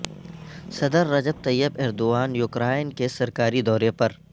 صدر Recep Tayyip Erdogan Ukraine کے سرکاری دورے پر